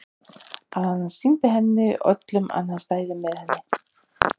Að hann sýndi henni og öllum að hann stæði með henni.